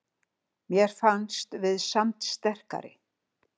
Mér fannst við samt sterkari